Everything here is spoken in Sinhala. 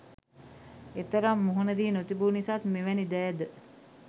එතරම් මුහුණ දී නොතිබු නිසාත් මෙවැනි දෑද